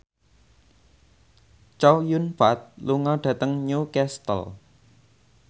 Chow Yun Fat lunga dhateng Newcastle